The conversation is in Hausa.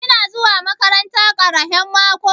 Kina zuwa maƙaranta ƙarahen maƙo?